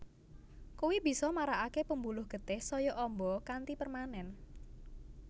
Kuwi bisa marakaké pembuluh getih saya amba kanthi permanen